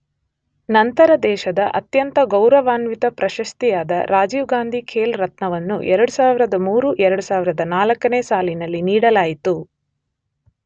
ನಂತರ ದೇಶದ ಅತ್ಯಂತ ಗೌರವಾನ್ವಿತ ಪ್ರಶಸ್ತಿಯಾದ ರಾಜೀವ್ ಗಾಂಧಿ ಖೇಲ್ ರತ್ನವನ್ನು 2003-2004 ನೇ ಸಾಲಿನಲ್ಲಿ ನೀಡಲಾಯಿತು.